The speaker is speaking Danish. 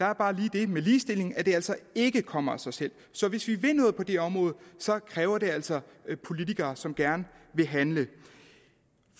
er bare lige det ved ligestilling at det altså ikke kommer af sig selv så hvis vi vil noget på det område kræver det altså politikere som gerne vil handle